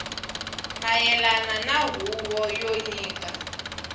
mayelana na huvo yo nyika